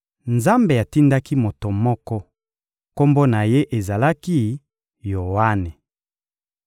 Nzambe atindaki moto moko, kombo na ye ezalaki «Yoane.»